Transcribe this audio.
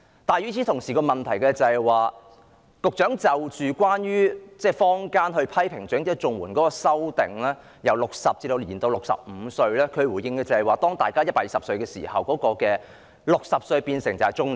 但與此同時，問題是對於坊間批評針對長者綜援的修訂，把申請年齡由60歲延至65歲，局長的回應是當大家有120歲壽命時 ，60 歲便是中年。